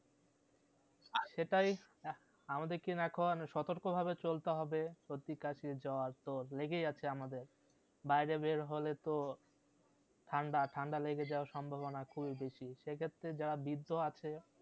সেটাই আমাদের কে এখন সতর্ক ভাবে চলতে হবে সর্দি কাশি জ্বর তো লেগেই আছে আমাদের বাইরে বেড় হলে তো ঠান্ডা ঠান্ডা লেগে যাবার সম্ভবনা খুবই বেশি সে ক্ষেত্র্রে যারা বৃদ্ধ আছে